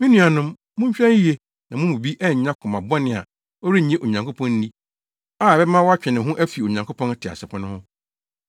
Me nuanom, monhwɛ yiye na mo mu bi annya koma bɔne a ɔrennye Onyankopɔn nni a ɛbɛma watwe ne ho afi Onyankopɔn teasefo no ho.